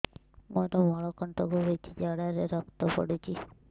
ମୋରୋ ମଳକଣ୍ଟକ ହେଇଚି ଝାଡ଼ାରେ ରକ୍ତ ପଡୁଛି